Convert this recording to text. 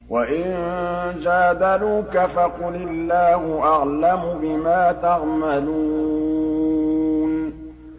وَإِن جَادَلُوكَ فَقُلِ اللَّهُ أَعْلَمُ بِمَا تَعْمَلُونَ